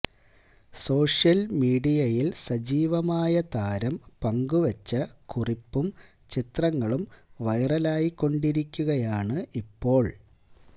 social മീഡിയയില് സജീവമായ താരം പങ്കുവെച്ച കുറിപ്പും ചിത്രങ്ങളും വൈറലായിക്കൊണ്ടിരിക്കുകയാണ് ഇപ്പോള്